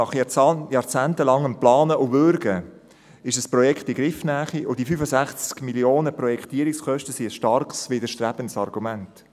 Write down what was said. Nach jahrzehntelangem Planen und Würgen ist das Projekt in Griffnähe, und die Projektierungskosten von 65 Mio. Franken sind ein starkes, widerstrebendes Argument.